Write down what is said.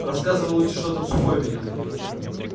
рассказывай лучше что там сухой видел